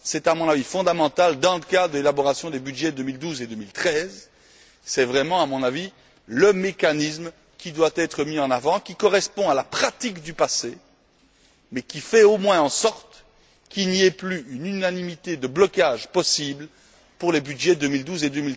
C'est à mon avis fondamental dans le cadre de l'élaboration des budgets 2012 et 2013. C'est vraiment, à mon avis, le mécanisme qui doit être mis en avant, qui correspond à la pratique du passé, mais qui fait au moins en sorte qu'il n'y ait plus une unanimité de blocage possible pour les budgets 2012 et